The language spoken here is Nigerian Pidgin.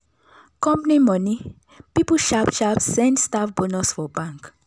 company money people sharp sharp send staff bonus for bank